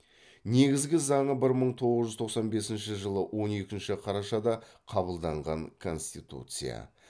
негізгі заңы бір мың тоғыз жүз тоқсан бесінші жылы он екінші қарашада қабылданған конституция